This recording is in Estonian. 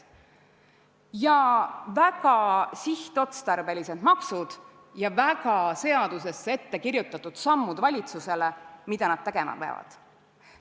Teiseks, väga sihtotstarbelised maksud ja seadustesse ette kirjutatud sammud, mida valitsus tegema peab.